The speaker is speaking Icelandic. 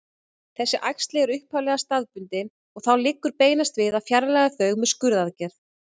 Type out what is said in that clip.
Þessi æxli eru upphaflega staðbundin og þá liggur beinast við að fjarlægja þau með skurðaðgerð.